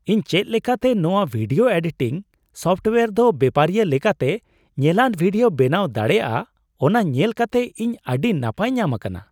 ᱤᱧ ᱪᱮᱫ ᱞᱮᱠᱟᱛᱮ ᱱᱚᱶᱟ ᱵᱷᱤᱰᱤᱭᱳ ᱮᱰᱤᱴᱤᱝ ᱥᱳᱯᱴᱳᱭᱟᱨ ᱫᱚ ᱵᱮᱯᱟᱨᱤᱭᱟᱹ ᱞᱮᱠᱟᱛᱮ ᱧᱮᱞᱟᱱ ᱵᱷᱤᱰᱤᱭᱳ ᱵᱮᱱᱟᱣ ᱫᱟᱲᱮᱹᱭᱟᱜᱼᱟ, ᱚᱱᱟ ᱧᱮᱞ ᱠᱟᱛᱮ ᱤᱧ ᱟᱹᱰᱤ ᱱᱟᱯᱟᱭ ᱧᱟᱢ ᱟᱠᱟᱱᱟ ᱾